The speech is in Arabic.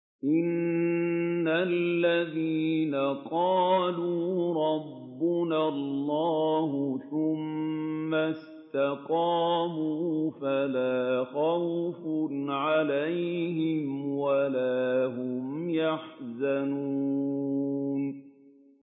إِنَّ الَّذِينَ قَالُوا رَبُّنَا اللَّهُ ثُمَّ اسْتَقَامُوا فَلَا خَوْفٌ عَلَيْهِمْ وَلَا هُمْ يَحْزَنُونَ